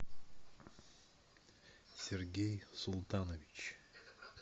сергей султанович